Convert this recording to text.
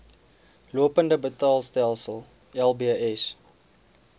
lopende betaalstelsel lbs